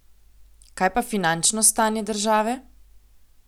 Kaj pa finančno stanje države?